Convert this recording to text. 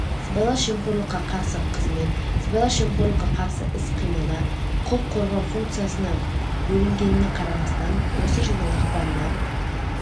сыбайлас жемқорлыққа қарсы қызмет сыбайлас жемқорлыққа қарсы іс-қимылда құқық қорғау функциясына бөлінгеніне қарамастан осы жылдың ақпанынан